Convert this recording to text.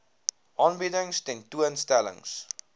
aanbiedings tentoon stellings